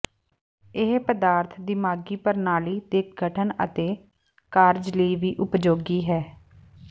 ਇਹ ਪਦਾਰਥ ਦਿਮਾਗੀ ਪ੍ਰਣਾਲੀ ਦੇ ਗਠਨ ਅਤੇ ਕਾਰਜ ਲਈ ਵੀ ਉਪਯੋਗੀ ਹੈ